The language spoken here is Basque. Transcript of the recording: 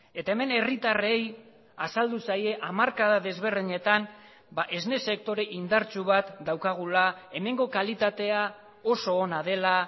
eta hemen herritarrei azaldu zaie hamarkada desberdinetan esne sektore indartsu bat daukagula hemengo kalitatea oso ona dela